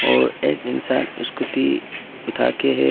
और एक इंसान स्कूटी उठा के है।